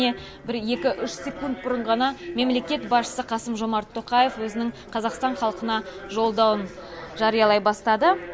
міне бір екі үш секунд бұрын ғана мемлекет басшысы қасым жомарт тоқаев өзінің қазақстан халқына жолдауын жариялай бастады